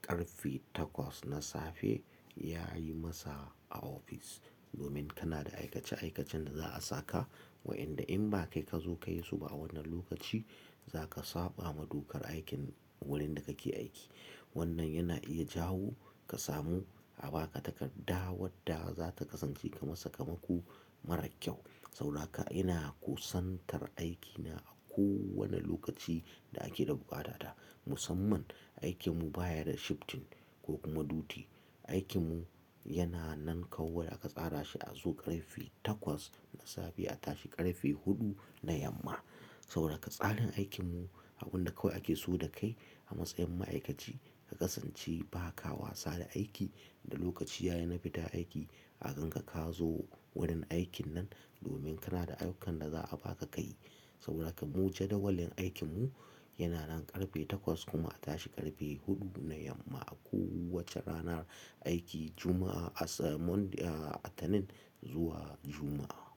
karfe takwas na safe ya yi masa a ofis. Domin kana da aikace-aikacen da za a saka waƴanda in ba kai ka zo ka yi su ba a wannan lokaci, za ka saɓa ma dokar aikin wurin da kake aiki. Wannan ya na iya jawo ka sa mu a baka takarda wadda za ta kasance kamar sakamako marar kyau. Saura kan ina kusantar aiki na a kowane lokaci da ake da buƙata, musamman aiki mu baya da shifting ko kuma duty. Aikin mu yana nan kawai aka tsara shi a zo karfe takwas na safe a tashi ƙarfe huɗu na yamma. Saboda haka tsarin aikin mu abunda kawai ake so da kai a matsayin ma'aikaci, ka kasance ba ka wasa da aiki. Da lokaci ya yi na fita aiki, a gan ka ka zo wurin aikin nan domin kana da ayyukan da za a baka ka yi. Saboda haka mu jadawalin aikin mu ya na nan ƙarfe takwas kuma a tashi ƙarfe huɗu na yamma a kowace ranar aiki Juma'a, Litinin zuwa Juma'a.